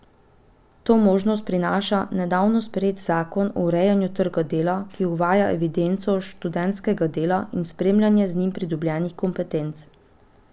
To možnost prinaša nedavno sprejet zakon o urejanju trga dela, ki uvaja evidenco študentskega dela in spremljanje z njim pridobljenih kompetenc.